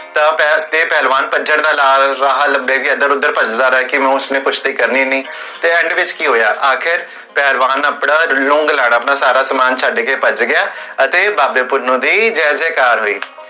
ਤੇ ਪਹਲਵਾਨ ਭਜਨ ਦਾ ਰਾਹ ਲਬਬੇ, ਕੀ ਇਦਰ ਉਦਰ ਭਜਦਾ ਰਿਹਾ ਕਿਓਕਿ ਉਸਨੇ ਕੁਸ਼ਤੀ ਕਰਨੀ ਨਹੀ, ਤੇ end ਵਿਚ ਕੀ ਹੋਇਆ ਆਖਿਰ, ਪਹਲਵਾਨ ਆਪਣਾ ਰੂੰਗ ਨਾਲ, ਆਪਣਾ ਸਾਰਾ ਸਮਾਨ ਛੱਡ ਕੇ ਭੱਜ ਗਿਆ ਅਤੇ ਬਾਬੇ ਪੁੰਨੁ ਦੀ ਜੈ ਜੈ ਕਾਰ ਹੋਈ